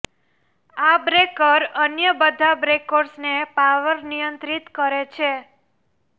આ બ્રેકર અન્ય બધા બ્રેકર્સને પાવર નિયંત્રિત કરે છે